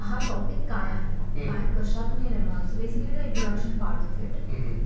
हा टॉपिक काय आहे, कशातून हे निर्माण झालं, so basically the introduction part of it.